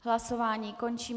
Hlasování končím.